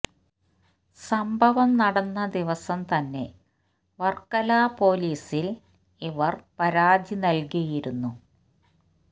സംഭവം നടന്ന ദിവസം തന്നെ വർക്കല പോലീസിൽ ഇവർ പരാതി നൽകിയിരുന്നു